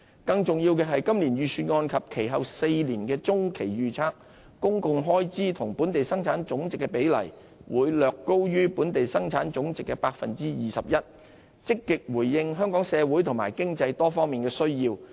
更重要的是，今年預算案及其後4年的中期預測，公共開支與本地生產總值的比例會略高於本地生產總值的 21%， 積極回應香港社會和經濟多方面的需要。